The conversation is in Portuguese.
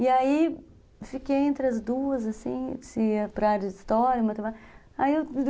E aí, fiquei entre as duas, assim, se ia para a área de história, matemática.